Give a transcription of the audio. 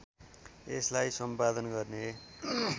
यसलाई सम्पादन गर्ने